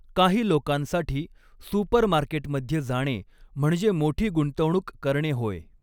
काही लोकांसाठी, सुपरमार्केटमध्ये जाणे म्हणजे मोठी गुंतवणूक करणे होय.